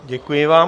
Děkuji vám.